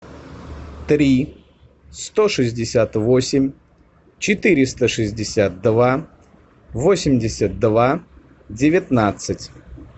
три сто шестьдесят восемь четыреста шестьдесят два восемьдесят два девятнадцать